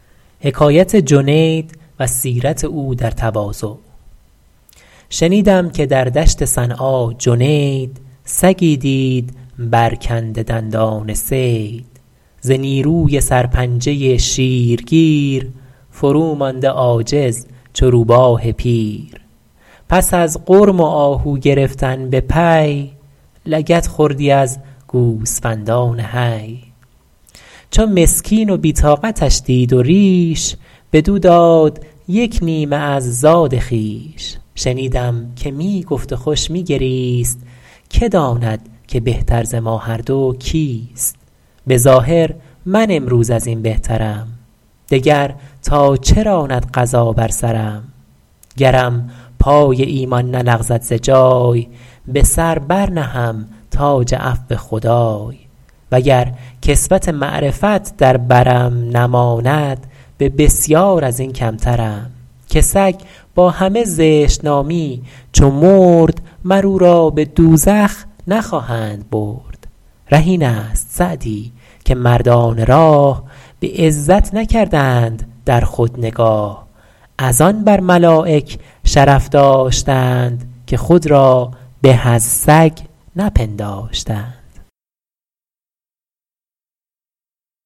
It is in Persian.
شنیدم که در دشت صنعا جنید سگی دید برکنده دندان صید ز نیروی سر پنجه شیر گیر فرومانده عاجز چو روباه پیر پس از غرم و آهو گرفتن به پی لگد خوردی از گوسفندان حی چو مسکین و بی طاقتش دید و ریش بدو داد یک نیمه از زاد خویش شنیدم که می گفت و خوش می گریست که داند که بهتر ز ما هر دو کیست به ظاهر من امروز از این بهترم دگر تا چه راند قضا بر سرم گرم پای ایمان نلغزد ز جای به سر بر نهم تاج عفو خدای وگر کسوت معرفت در برم نماند به بسیار از این کمترم که سگ با همه زشت نامی چو مرد مر او را به دوزخ نخواهند برد ره این است سعدی که مردان راه به عزت نکردند در خود نگاه از‍‍‍‍‍‍‍‍ آن بر ملایک شرف داشتند که خود را به از سگ نپنداشتند